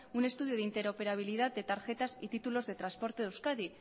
un estudio de interoperabilidad de tarjetas y títulos de transporte de euskadi